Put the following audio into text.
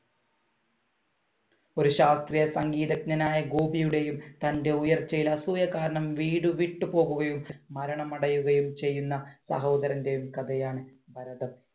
ഒരു ശാസ്ത്രീയ സംഗീതജ്ഞനായ ഗോപിയുടെയും തന്‍റെ ഉയർച്ചയിൽ അസൂയ കാരണം വീട് വിട്ടു പോവുകയും മരണമടയുകയും ചെയ്യുന്ന സഹോദരന്‍റെയും കഥയാണ് ഭരതം.